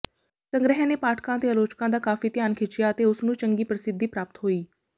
ਸੰਗ੍ਰਹਿ ਨੇ ਪਾਠਕਾਂ ਅਤੇ ਆਲੋਚਕਾਂ ਦਾ ਕਾਫ਼ੀ ਧਿਆਨ ਖਿਚਿਆ ਅਤੇ ਉਸਨੂੰ ਚੰਗੀ ਪ੍ਰਸਿੱਧੀ ਪ੍ਰਾਪਤ ਹੋਈ